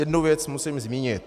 Jednu věc musím zmínit.